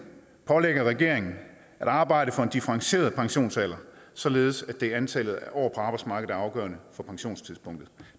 pålægger regeringen at arbejde for en differentieret pensionsalder således at det er antallet af år på arbejdsmarkedet afgørende for pensionstidspunktet